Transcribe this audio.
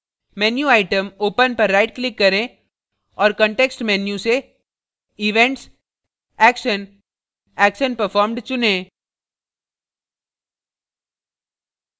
menu item open पर right click करें और context menu से events action action performed चुनें